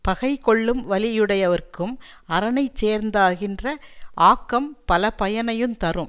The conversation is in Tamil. பகை கொள்ளும் வலியுடையவர்க்கும் அரணை சேர்ந்தாகின்ற ஆக்கம் பலபயனையுந் தரும்